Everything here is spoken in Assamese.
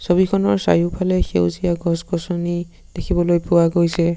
ছবিখনৰ চাৰিওফালে সেউজীয়া গছ গছনি দেখিবলৈ পোৱা গৈছে।